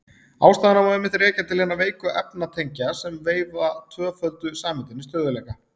Ástæðuna má einmitt rekja til hinna veiku efnatengja sem veita tvöföldu sameindinni stöðugleika.